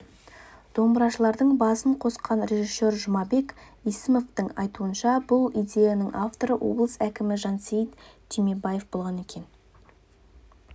домбырашылардың басын қосқан режиссер жұмабек есімовтың айтуынша бұл идеяның авторы облыс әкімі жансейіт түймебаев болған екен